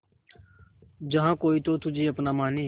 जहा कोई तो तुझे अपना माने